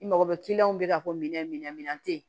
I mago bɛ kiliyanw bɛ ka minɛn min tɛ yen